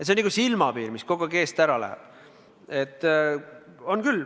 See on nagu silmapiir, mis kogu aeg eest ära läheb.